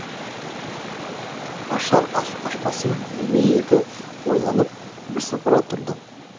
ашар ашпасын білмей екі ойланып бірсыпыра тұрды